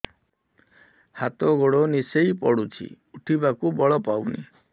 ହାତ ଗୋଡ ନିସେଇ ପଡୁଛି ଉଠିବାକୁ ବଳ ପାଉନି